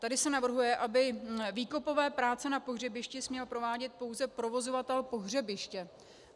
Tady se navrhuje, aby výkopové práce na pohřebišti směl provádět pouze provozovatel pohřebiště.